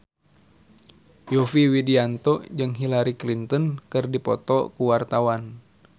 Yovie Widianto jeung Hillary Clinton keur dipoto ku wartawan